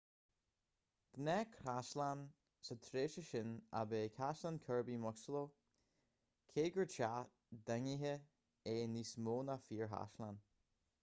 gnáthchaisleán sa tréimhse sin ab ea caisleán kirby muxloe cé gur teach daingnithe é níos mó ná fíorchaisleán